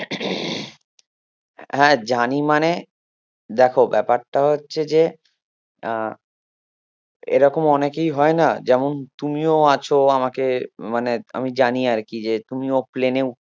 হ্যাঁ জানি মানে দেখো ব্যাপারটা হচ্ছে যে আহ এরকম অনেকেই হয় না যেমন তুমিও আছো আমাকে মানে আমি জানি আরকি যে তুমিও প্লেন উ~